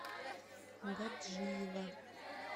гаджиево